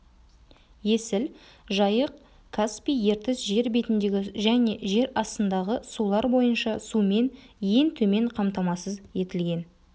есіл жайық-каспий ертіс жер бетіндегі және жер астындағы сулар бойынша сумен ең төмен қамтамасыз етілген